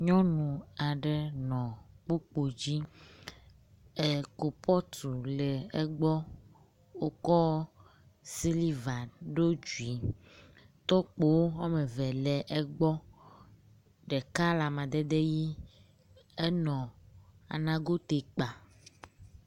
nyɔnu aɖe le kpokpodzi e kupɔtu le egbɔ wokɔ siliva ɖó dzui tɔkpowo wɔmeve le egbɔ ɖeka le amadede ɣi enɔ nagoti kpa